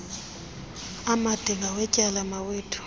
amade ngawetyala mawethu